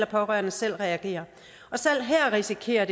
pårørende selv reagerer selv her risikerer